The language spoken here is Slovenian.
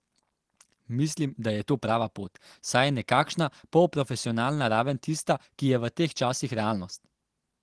Mislim, da je to prava pot, saj je nekakšna polprofesionalna raven tista, ki je v teh časih realnost.